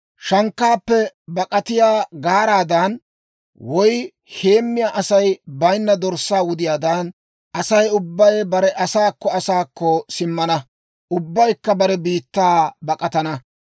Shankkaappe bak'atiyaa gaaraadan, woy heemmiyaa Asay bayinna dorssaa wudiyaadan, Asay ubbay bare asaakko asaakko simmana; ubbaykka bare biittaa bak'atana.